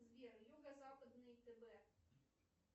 сбер юго западный тв